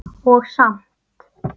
Og samt.